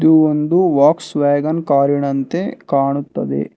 ಇದು ಒಂದು ವಾಕ್ಸ್ವಾಗನ್ ಕಾರಿನಂತೆ ಕಾಣುತ್ತದೆ.